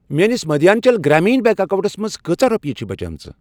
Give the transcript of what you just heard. میٲنِس Madhyanchal Gramin bank accounts منٛز کۭژاہ رۄپیہِ چھِ بچیمٕژ؟